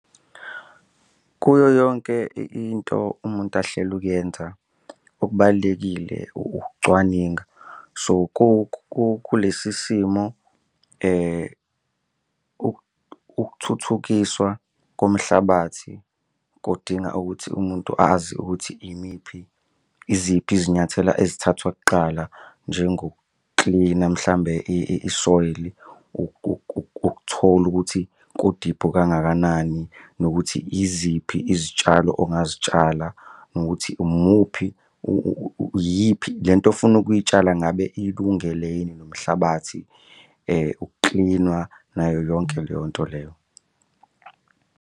Kuyo yonke into umuntu ahlela ukuyenza okubalulekile ukucwaninga so kulesi simo ukuthuthukiswa komhlabathi kudinga ukuthi umuntu azi ukuthi imiphi iziphi izinyathelo ezathathwa kuqala njengokuklina mhlambe i-soil-i ukuthola ukuthi kudiphu kangakanani nokuthi yiziphi izitshalo ongazitshala nokuthi umuphi iyiphi le nto ofuna ukuyitshala ngabe ilungele yini nomhlabathi ukuklinwa nayo yonke leyo nto leyo.